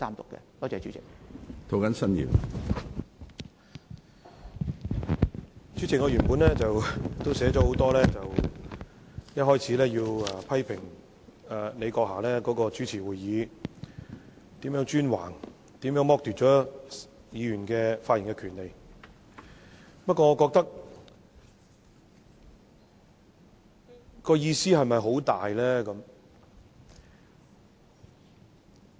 主席，我的發言稿原本寫了很多說話，一開始要批評你閣下主持會議是如何專橫，如何剝奪了議員的發言權利，不過，意義是否很大呢？